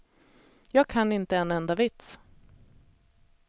Jag kan inte en enda vits.